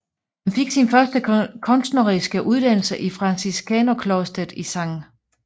Han fik sin første kunstneriske uddannelse i franciskanerklostret Skt